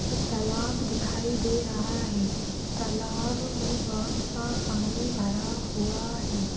ये तालाब दिखाई दे रहा है तालाब में बहुत सा पानी भरा हुआ है।